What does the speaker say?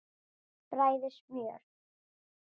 Bræðið smjör.